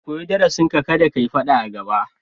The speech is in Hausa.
Ka koyi darasinka, kada ka yi faɗa a gaba.